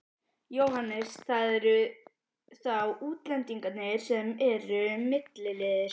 Jóhannes: Það eru þá útlendingarnir sem eru milliliðir?